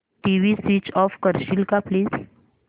TV switch off करशील का please